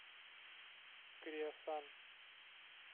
креосан